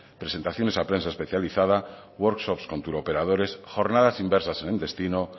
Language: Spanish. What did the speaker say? presentación a prensa especializada workshops con turoperadores jornadas inversas en el destino